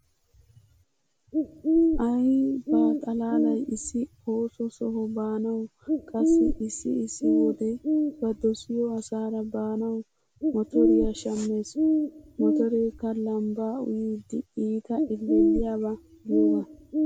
Aaay ba xalaalay issi ooso soha baanawu qassi issi issi wode ba dosiyo asaara baanawu motoriya shammees. Motoreekka lambbaa uyidi iita ellelliyaba giyogaa.